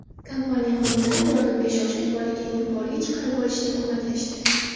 Kompaniya xodimlari yordamga shoshib, bolakayni yuqoriga chiqarib olishda ko‘maklashdi.